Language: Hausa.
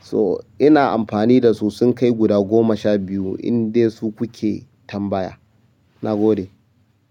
So ina amfani da su sun kai guda goma sha biyu in dai su kuke tambaya. Na gode.